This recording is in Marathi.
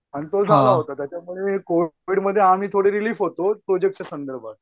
आणि तो त्याच्यामुळे कोविडमध्ये आम्ही थोडं रीलिफमध्ये होतो प्रोजेक्टच्या संदर्भात